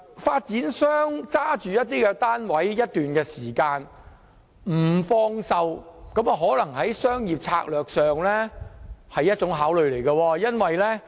發展商持有物業一段時間而不放售，可能是出於商業策略的考慮。